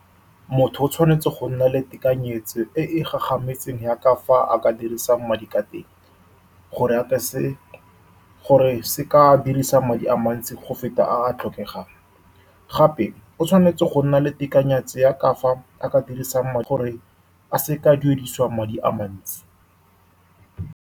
Motho o tshwanetse go nna le tekanyetso e e gagametseng ya ka fa a ka dirisang madi ka teng, gore a ka se, gore a seka a dirisa madi a mantsi go feta a a tlhokegang. Gape, o tshwanetse go nna le tekanyetso ya ka fa a ka a dirisang, gore a seka a duedisiwang madi a mantsi.